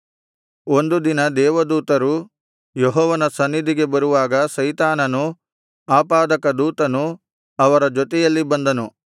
ಒಂದು ದಿನ ದೇವದೂತರು ಯೆಹೋವನ ಸನ್ನಿಧಿಗೆ ಬರುವಾಗ ಸೈತಾನನು ಆಪಾದಕ ದೂತನು ಅವರ ಜೊತೆಯಲ್ಲಿ ಬಂದನು